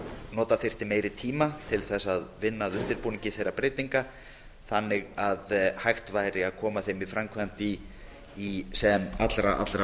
nota þyrfti meiri tíma til að vinna að undirbúningi þeirra breytinga þannig að hægt væri að koma þeim í framkvæmd í sem allra